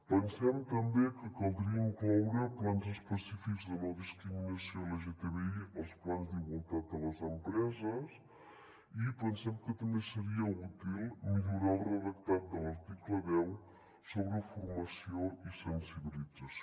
pensem també que caldria incloure plans específics de no discriminació lgtbi als plans d’igualtat de les empreses i pensem que també seria útil millorar el redactat de l’article deu sobre formació i sensibilització